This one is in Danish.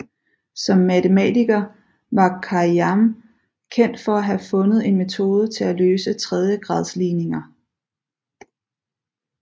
Som matematiker var Khayyám kendt for at have fundet en metode til at løse tredjegradsligninger